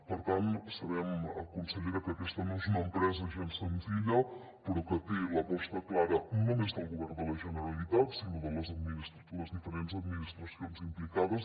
per tant sabem consellera que aquesta no és una empresa gens senzilla però que té l’aposta clara no només del govern de la generalitat sinó de les diferents administracions implicades